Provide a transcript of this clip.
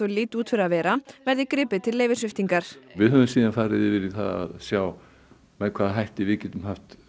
líti út fyrir að vera verði gripið til leyfissviptingar við höfum farið í það að sjá með hvaða hætti við getum